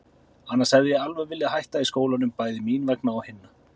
Annars hefði ég alveg viljað hætta í skólanum, bæði mín vegna og hinna.